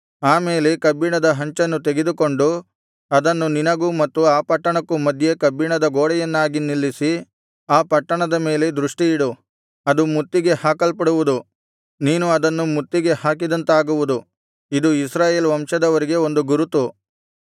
ಆಮೇಲೆ ಕಬ್ಬಿಣದ ಹಂಚನ್ನು ತೆಗೆದುಕೊಂಡು ಅದನ್ನು ನಿನಗೂ ಮತ್ತು ಆ ಪಟ್ಟಣಕ್ಕೂ ಮಧ್ಯೆ ಕಬ್ಬಿಣದ ಗೋಡೆಯನ್ನಾಗಿ ನಿಲ್ಲಿಸಿ ಆ ಪಟ್ಟಣದ ಮೇಲೆ ದೃಷ್ಟಿಯಿಡು ಅದು ಮುತ್ತಿಗೆ ಹಾಕಲ್ಪಡುವುದು ನೀನು ಅದನ್ನು ಮುತ್ತಿಗೆ ಹಾಕಿದಂತಾಗುವುದು ಇದು ಇಸ್ರಾಯೇಲ್ ವಂಶದವರಿಗೆ ಒಂದು ಗುರುತು